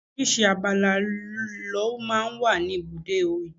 Oríṣiríṣi abala lọ máa ń wà ní ibùdó igbàfẹ́.